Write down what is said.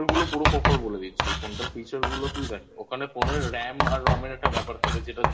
পুরো Proper বলে দিচ্ছি Feature গুলো তুই দেখ ওখানে Phone এর RAM আর ROM এর একটা ব্যাপার থাকে